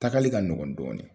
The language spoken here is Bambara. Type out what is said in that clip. Tagali ka ɲɔgɔn dɔɔni.